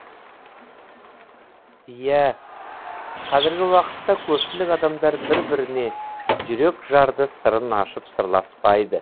иә қазіргі уақытта көпшілік адамдар бір біріне жүрек жарды сырын ашып сырласпайды